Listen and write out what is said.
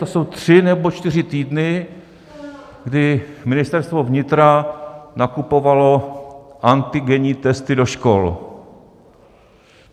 To jsou tři nebo čtyři týdny, kdy Ministerstvo vnitra nakupovalo antigenní testy do škol.